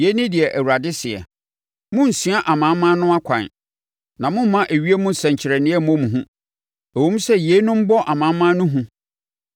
Yei ne deɛ Awurade seɛ: “Monnsua amanaman no akwan na momma ewiem nsɛnkyerɛnneɛ mmɔ mo hu. Ɛwom sɛ yeinom bɔ amanaman no hu